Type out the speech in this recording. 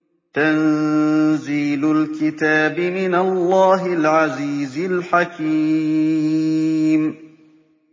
تَنزِيلُ الْكِتَابِ مِنَ اللَّهِ الْعَزِيزِ الْحَكِيمِ